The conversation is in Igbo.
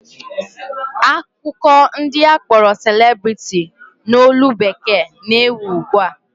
Akụkọ ndị akpọrọ celebrity n'olu bekee na-ewu ugbua